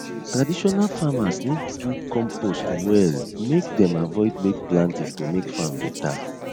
traditional farmers need do compost well make them avoid late planting to make farm better